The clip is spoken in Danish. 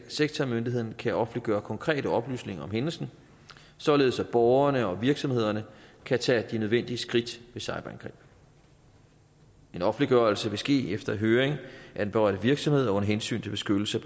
sektormyndigheden kan offentlige konkrete oplysninger om hændelsen således at borgerne og virksomhederne kan tage de nødvendige skridt ved cyberangreb en offentliggørelse vil ske efter høring af den berørte virksomhed under hensyn til beskyttelse